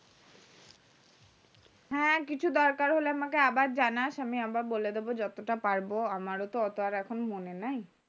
হ্যাঁ কিছু দরকার হলে আমাকে আবার জানাস আমি আবার বলে দেবো যতটা পারবো আমার ও তো এখন ওত মনে নাই